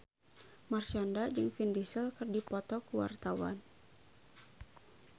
Marshanda jeung Vin Diesel keur dipoto ku wartawan